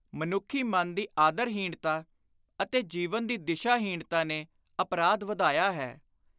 ਮਨੁੱਖੀ ਮਨ ਦੀ ਆਦਰ-ਹੀਣਤਾ ਅਤੇ ਜੀਵਨ ਦੀ ਦਿਸ਼ਾ-ਹੀਣਤਾ ਨੇ ਅਪਰਾਧ ਵਧਾਇਆ ਹੈ।